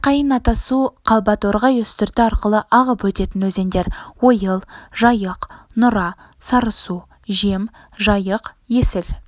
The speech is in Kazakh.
майқайың атасу қалба торғай үстірті арқылы ағып өтетін өзендер ойыл жайық нұра сарысу жем жайық есіл